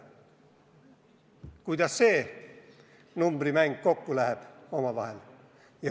Kuidas see numbrimäng omavahel kokku läheb?